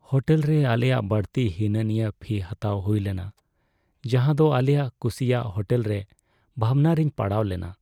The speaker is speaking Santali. ᱦᱳᱴᱮᱞᱨᱮ ᱟᱞᱮᱭᱟᱜ ᱵᱟᱹᱲᱛᱤ ᱦᱤᱱᱟᱹᱼᱱᱤᱭᱟᱹ ᱯᱷᱤ ᱦᱟᱛᱟᱣ ᱦᱩᱭ ᱞᱮᱱᱟ, ᱡᱟᱦᱟᱸᱫᱚ ᱟᱞᱮᱭᱟᱜ ᱠᱩᱥᱤᱭᱟᱜ ᱦᱳᱴᱮᱞ ᱨᱮ ᱵᱷᱟᱵᱱᱟ ᱨᱮᱧ ᱯᱟᱲᱟᱣ ᱞᱮᱱᱟ ᱾